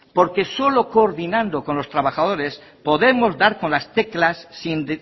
porque solo coordinando con los trabajadores podemos dar con las teclas sin